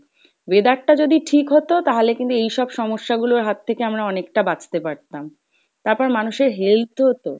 weather টা যদি ঠিক হতো তাহলে কিন্তু এইসব সমস্যা গুলোর হাত থেকে আমরা অনেকটা বাঁচতে পারতাম। তারপর মানুষের health ও তো